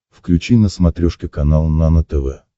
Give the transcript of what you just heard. включи на смотрешке канал нано тв